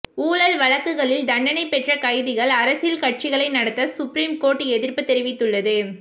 ஊழல் வழக்குகளில் தண்டனை பெற்ற கைதிகள் அரசியல் கட்சிகளை நடத்த சுப்ரீம் கோர்ட் எதிர்ப்பு தெரிவித்துள்ளது